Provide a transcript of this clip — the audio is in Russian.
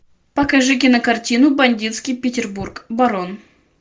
покажи кинокартину бандитский петербург барон